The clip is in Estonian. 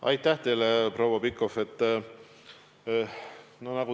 Aitäh teile, proua Pikhof!